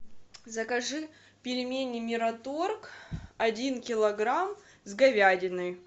закажи пельмени мираторг один килограмм с говядиной